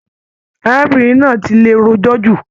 Arábìnrin náà tí lè rojọ jù.